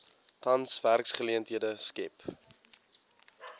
tans werksgeleenthede skep